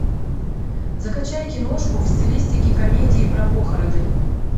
закачай киношку в стилистике комедии про похороны